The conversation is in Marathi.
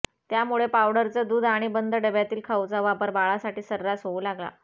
त्यामुळे पावडरचं दूध आणि बंद डब्यातील खाऊचा वापर बाळासाठी सर्रास होऊ लागला